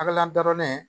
A ka la daronnen